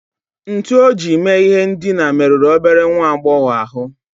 Ntu o ji mee ihe ndina merụrụ obere nwa agbọghọ ahụ